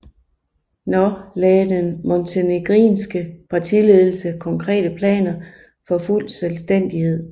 Nå lagde den montenegrinske partiledelse konkrete planer for fuld selvstændighed